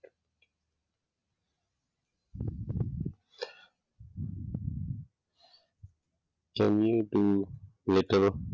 can you later